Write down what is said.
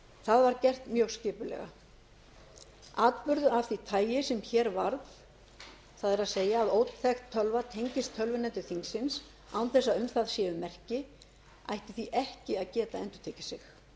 það var gert mjög skipulega atburður af því tagi sem hér varð það er að óþekkt tölva tengist tölvuneti þingsins án þess að um það séu merki ætti því ekki að geta endurtekið sig